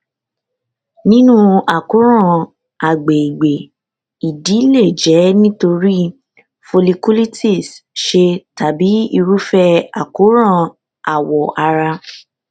nínú àkóràn agbègbè ìdí lè jẹ nítorí folliculitis sè tàbí irúfẹ àkóràn awọ ara